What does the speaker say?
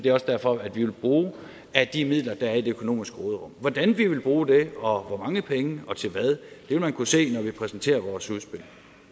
er også derfor vi vil bruge af de midler der er i det økonomiske råderum hvordan vi vil bruge det og hvor mange penge og til hvad vil man kunne se når vi præsenterer vores udspil